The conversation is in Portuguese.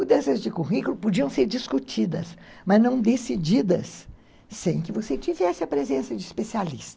Mudanças de currículo podiam ser discutidas, mas não decididas sem que você tivesse a presença de especialista.